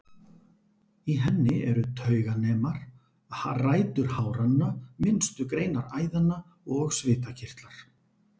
Í henni eru tauganemar, rætur háranna, minnstu greinar æðanna og svitakirtlar.